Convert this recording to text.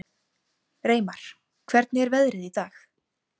Reimar, hvernig er veðrið í dag?